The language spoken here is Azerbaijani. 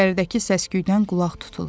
İçəridəki səs-küydən qulaq tutulur.